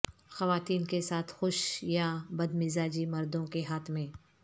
خواتین کے ساتھ خوش یا بد مزاجی مردوں کے ہاتھ میں